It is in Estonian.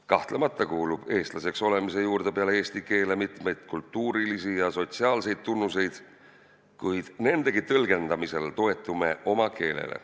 Kahtlemata kuulub eestlaseks olemise juurde peale eesti keele mitmeid kultuurilisi ja sotsiaalseid tunnuseid, kuid nendegi tõlgendamisel toetume oma keelele.